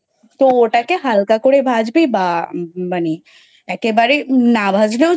তো ওটাকে হালকা করে ভাজবে বা একেবারে না ভাজলেও